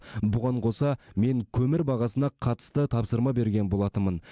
бұған қоса мен көмір бағасына қатысты тапсырма берген болатынмын